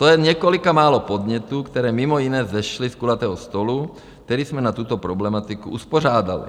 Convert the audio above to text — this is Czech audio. To je několik málo podnětů, které mimo jiné vzešly z kulatého stolu, který jsme na tuto problematiku uspořádali.